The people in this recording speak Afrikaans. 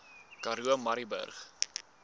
karoo murrayburg